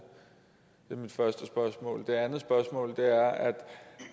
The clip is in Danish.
er mit første spørgsmål det andet spørgsmål er